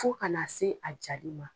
Fo ka na se a jaali ma.